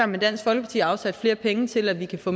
med dansk folkeparti afsat flere penge til at vi kan få